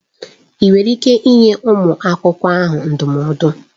Ị nwere ike ịnye nwa akwụkwọ ahụ ndụmọdụ?